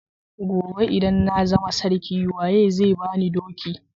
Gobe idan na zama sarki waye zai bani doki?